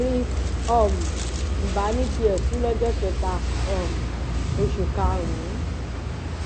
chris um m ba ní tiẹ kú lọjọ kẹta um oṣù karùnún